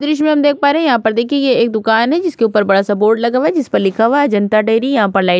दृश्य में हम देख पा रहे हैं यहाँ पर देखिए ये एक दुकान है जिसके ऊपर बड़ा सा बोर्ड लगा हुआ है जिस पर लिखा हुआ जनता डेरी यहाँ पर लाइट --